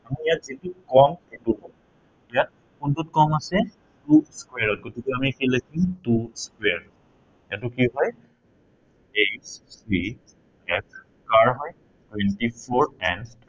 আমি ইয়াত যিটো কম সেইটো লম। ইয়াত কোনটোত কম আছে two square এইটো কি হয়। HCF কাৰ হয় twenty four and